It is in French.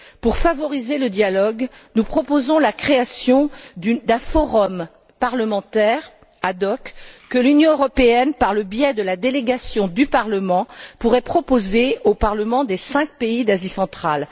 Pour favoriser le dialogue, nous proposons la création d'un forum parlementaire ad hoc que l'Union européenne, par le biais de la délégation du Parlement, pourrait proposer aux parlements des cinq pays d'Asie centrale.